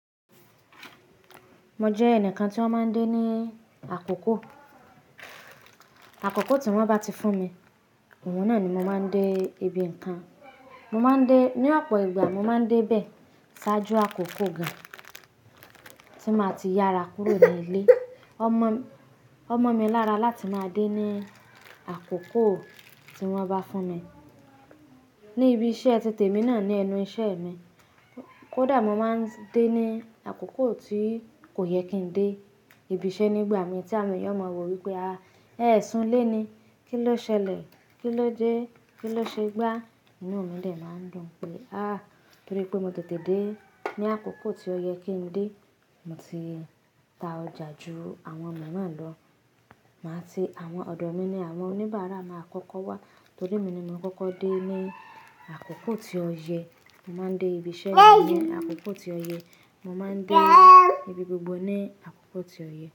Mo jẹ ẹnìkan tí wọ́n máa ń dé ní àkókò. Àkókò tí wọ́n bá ti fún mi, òun náà ni mo máa ń dé ibi nǹkan. Mo máa ń dé, ní ọ̀pọ̀ ìgbà mo máa ń dé bẹ́, ṣáájú àkókò gáàn, tí máa ti yára kúrò ní ilé. Ó mọ́, ó mọ́ mi lára láti máa dé ní àkókò tí wọ́n bá fún mi. Ní ibi iṣẹ́, titemi náà ni ẹnu iṣẹ́ mi. Kó dà mó máa ń dé ní àkókò tí kò yẹ kí n dé ibi iṣẹ́ nígbà mí tí àwọn èèyàn máa wọ̀ wípé, "àá, ẹ́ sún lé ni, kí ló ṣẹlẹ̀? Kí ló dẹ́? Kí ló ṣe gbá?" Inú mi de máa ń dùn pé, "áá, torí pé mo tètè dé ní àkókò tí ó yẹ kí n dé." Mo ti ta ọjà ju àwọn elomiran náà lọ. Màá ti, àwọn ọ̀dọ́ mi ni àwọn oníbàárà máa kọ́kọ́ wá, torí emi ni mo kọ́kọ́ dé ní àkókò tí ó yẹ. Mo máa ń dé ibi iṣẹ́ ní àkókò tí ó yẹ. Mo máa ń dé ibi gbogbo ní àkókò tí ó yẹ.